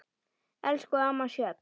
Elsku amma Sjöfn.